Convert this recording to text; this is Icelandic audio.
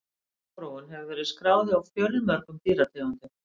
Sjálfsfróun hefur verið skráð hjá fjölmörgum dýrategundum.